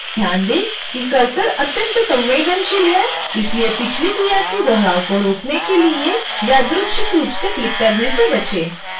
कृपया ध्यान दें कि कर्सर अत्यंत संवेदनशील है इसलिए पिछली क्रिया के दोहराव को रोकने के लिए यादृच्छिक रूप से क्लिक करने से बचें